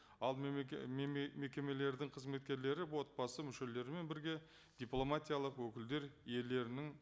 ал мекемелердің қызметкерлері отбасы мүшелерімен бірге дипломатиялық өкілдер иелерінің